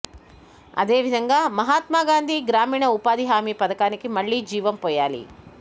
అదే విధంగా మహాత్మగాంధీ గ్రామీణ ఉపాధి హామి పథకానికి మళ్లీ జీవం పోయాలి